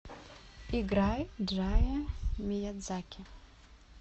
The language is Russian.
играй джая миядзаки